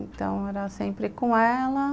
Então, era sempre com ela.